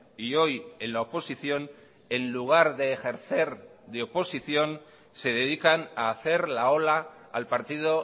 y hoy en la oposición en lugar de ejercer de oposición se dedican a hacer la ola al partido